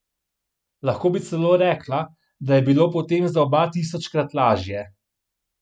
Lahko bi celo rekla, da je bilo potem za oba tisočkrat lažje.